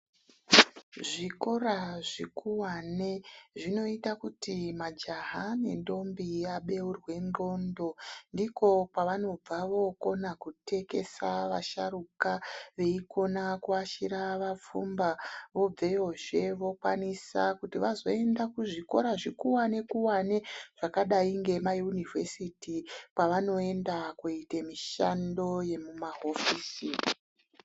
Zvikora zvikuwane zvinoita kuti majaha nendombi vabeurwe ndxondo ndiko kwavanobva vokona kutekesa vasharukwa veikona kuashira vapfumba vobveyozve vazoenda kuzvikora zvikuwani kuwani zvakadai nemayunivhesiti kwavanoenda koita mushando yemumahofisi.